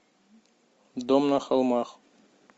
дом на холмах